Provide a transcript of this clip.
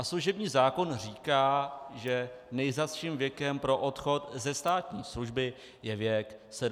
A služební zákon říká, že nejzazším věkem pro odchod ze státní služby je věk 70 let.